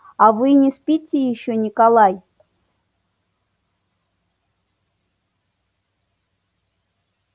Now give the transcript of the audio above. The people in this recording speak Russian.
а вы не спите ещё николай